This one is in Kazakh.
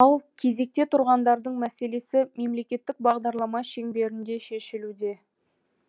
ал кезекте тұрғандардың мәселесі мемлекеттік бағдарлама шеңберінде шешілуде